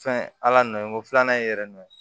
Fɛn ala nɔ ye nko filanan ye yɛrɛ nɔ ye